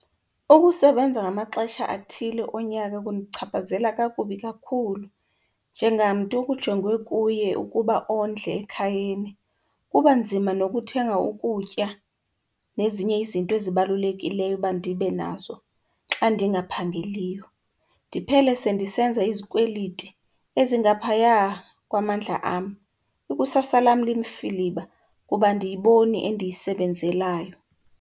Ukusebenza ngamaxesha athile onyaka kundichaphazela kakubi kakhulu njengamntu kujongwe kuye ukuba ondle ekhayeni. Kuba nzima nokuthenga ukutya nezinye izinto ezibalulekileyo uba ndibe nazo xa ndingaphangeliyo. Ndiphele sendisenza izikweliti ezingaphaya kwamandla am. Ikusasa lam limfiliba kuba andiyiboni endiyisebenzelayo.